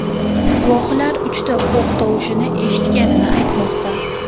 Guvohlar uchta o‘q tovushini eshitganini aytmoqda.